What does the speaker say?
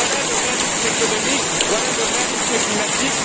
Voilà le réalisme économique, voilà le réalisme climatique.